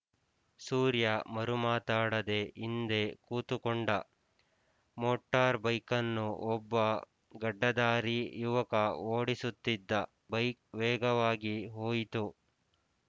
ಸೂರ್ಯ ಮರುಮಾತಾಡದೆ ಹಿಂದೆ ಕೂತುಕೊಂಡ ಮೋಟಾರ್‍ಬೈಕನ್ನು ಒಬ್ಬ ಗಡ್ಡಧಾರಿ ಯುವಕ ಓಡಿಸುತ್ತಿದ್ದ ಬೈಕ್ ವೇಗವಾಗಿ ಹೋಯಿತು